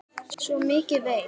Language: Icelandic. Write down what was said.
Svo mikið veit